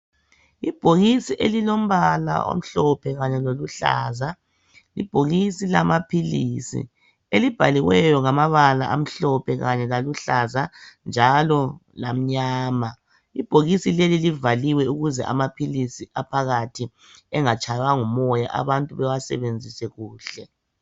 Ibhokisi elilombala omhlophe kanye loluhlaza. Libhokisi lamaphilisi elibhaliweyo ngamabala amhlophe, aluhlaza kanye lamnyama. Lelibhokisi livaliwe ukuze amaphilisi engatshaywa ngumoya abantu bawasebenzise kuhle.